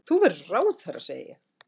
Þú verður ráðherra, segi ég.